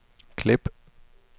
klip